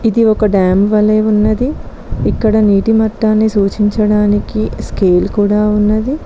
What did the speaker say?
ఇది ఒక డ్యాం వలె ఉన్నది ఇక్కడ నీటి మొత్తాన్ని సూచించడానికి స్కేల్ కుడా ఉన్నది.